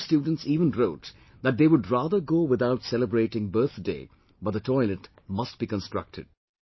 Some students even wrote that they would rather go without celebrating birthday but the toilet must be constructed